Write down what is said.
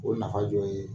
O nafa dɔ ye